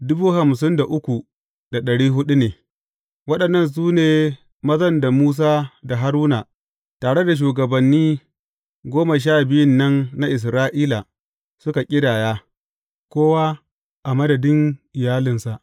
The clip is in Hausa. Waɗannan su ne mazan da Musa da Haruna, tare da shugabanni goma sha biyun nan na Isra’ila suka ƙidaya, kowa a madadin iyalinsa.